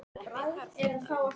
Sveppi, hvað er að frétta?